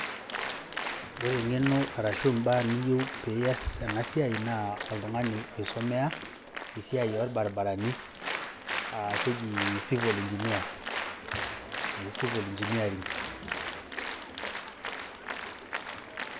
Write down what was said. Ore eng'eno arashu mbaa niyeu pias ena siai naa oltung'ani oisomea esia olbaribarani naake eji civil engineering'.